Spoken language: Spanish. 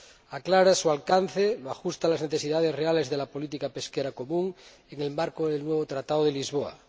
Aclara su alcance, lo ajusta las necesidades reales de la política pesquera común en el marco del nuevo Tratado de Lisboa